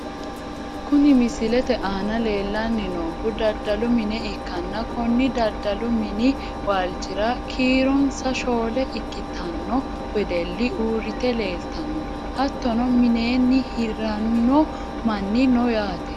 Kuni misilete aana lellanni noohu daddalu mine ikkanna, konni daddalu mini waalchira kiironsa shoole ikkitanno wedelli uurrite leeltano. hattono mineenni hiranno manni no yaate.